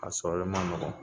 A sɔrɔli ma nɔgɔn.